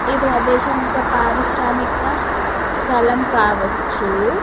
ఈ ప్రదేశం ఒక పారిశ్రామిక స్థలం కావచ్చు.